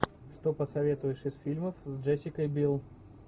что посоветуешь из фильмов с джессикой бил